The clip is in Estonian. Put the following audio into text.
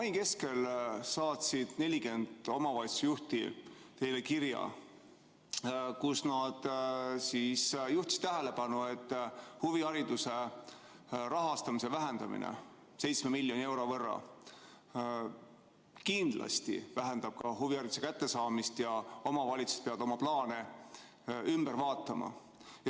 Mai keskel saatsid 40 omavalitsusjuhti teile kirja, milles nad juhtisid tähelepanu sellele, et huvihariduse rahastamise vähendamine 7 miljoni euro võrra kindlasti vähendab ka huvihariduse kättesaadavust ja et omavalitsused peavad oma plaane ümber tegema.